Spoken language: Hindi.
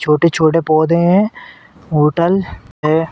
छोटे-छोटे पौधे हैं। होटल है।